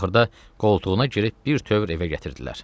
Axırda qoltuğuna girib birtəhər evə gətirdilər.